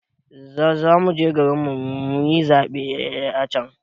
Zamuje garin mu muyi zaɓe a can